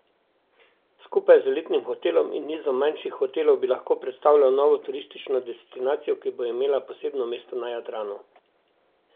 Skupaj z elitnim hotelom in nizom manjših hotelov bi lahko predstavljal novo turistično destinacijo, ki bo imela posebno mesto na Jadranu.